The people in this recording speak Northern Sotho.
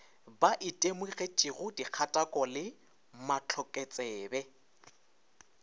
ba itemogetšego dikgatako le mahlokotsebe